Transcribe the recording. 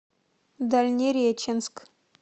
дальнереченск